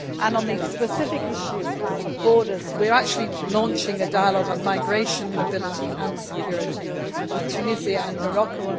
On the specific issue of borders, we are launching a dialogue on migration, mobility and security with Tunisia and Morocco.